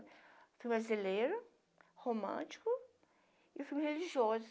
O filme brasileiro, romântico, e o filme religioso.